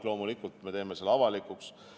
Loomulikult me teeme selle avalikuks.